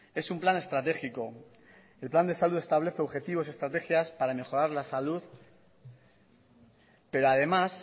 es un plan estratégico el plan de salud establece objetivos y estrategias para mejorar la salud pero además